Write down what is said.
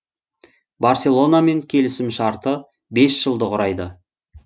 барселонамен келісім шарты бес жылды құрайды